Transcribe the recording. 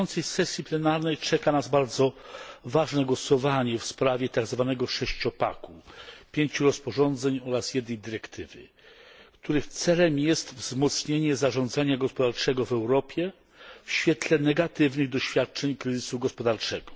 Na bieżącej sesji plenarnej czeka nas bardzo ważne głosowanie w sprawie tzw. sześciopaku pięciu rozporządzeń oraz jednej dyrektywy, których celem jest wzmocnienie zarządzania gospodarczego w Europie w świetle negatywnych doświadczeń kryzysu gospodarczego.